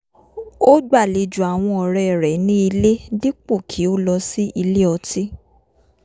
ó gbàlejò àwọn ọ̀rẹ́ rẹ̀ ní ilé dípò kí ó lọ sí ilé ọtí